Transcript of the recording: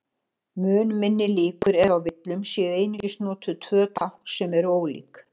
Mun minni líkur eru á villum séu einungis notuð tvö tákn sem eru ólík.